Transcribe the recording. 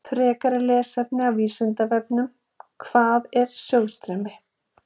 Frekara lesefni á Vísindavefnum: Hvað er sjóðstreymi?